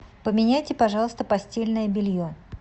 поменяйте пожалуйста постельное белье